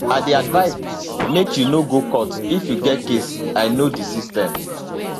i dey advise make you no go court if you get case i know di system